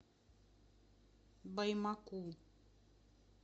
баймаку